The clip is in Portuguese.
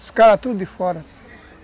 Os caras tudo de fora.